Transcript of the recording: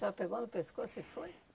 A senhora pegou no pescoço e foi?